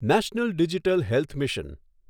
national digital health mission